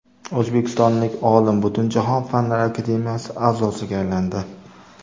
O‘zbekistonlik olim Butunjahon Fanlar akademiyasi a’zosiga aylandi.